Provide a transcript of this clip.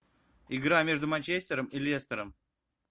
игра между манчестером и лестером